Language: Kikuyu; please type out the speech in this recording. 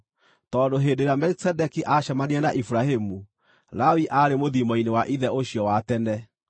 tondũ hĩndĩ ĩrĩa Melikisedeki aacemanirie na Iburahĩmu, Lawi aarĩ mũthiimo-inĩ wa ithe ũcio wa tene.